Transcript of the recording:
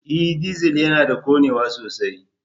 E! Dizal yana da ƙonewa sosai.